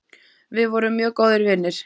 Við vorum mjög góðir vinir.